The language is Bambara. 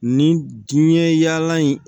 Nin diɲɛ yaala in